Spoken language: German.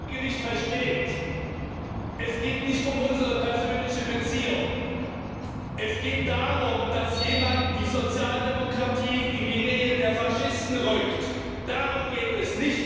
Herr Präsident! Was der Kollege nicht versteht Es geht nicht um unsere persönliche Beziehung. Es geht darum, dass jemand die Sozialdemokratie in die Nähe der Faschisten rückt. Darum geht es!